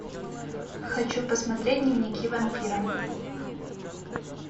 хочу посмотреть дневники вампира